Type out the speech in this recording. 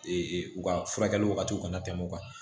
u ka furakɛli wagatiw kana tɛmɛ o kan